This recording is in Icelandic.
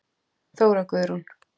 Þóra Guðrún.